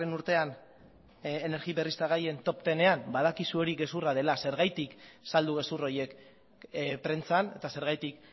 urtean energi berriztagarrien top hamarean badakizu hori gezurra dela zergatik saldu gezur horiek prentsan eta zergatik